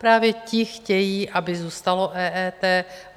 Právě ti chtějí, aby zůstalo EET.